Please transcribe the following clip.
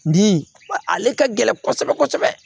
Bi ale ka gɛlɛn kosɛbɛ kosɛbɛ